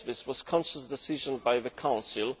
This was a conscious decision by the Council.